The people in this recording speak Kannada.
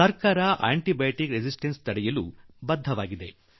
ಸರ್ಕಾರ ಆಂಟಿ ಬಯೋಟಿಕ್ ಪ್ರತಿರೋಧ ತಡೆಯಲು ಪ್ರತಿಬದ್ಧವಾಗಿದೆ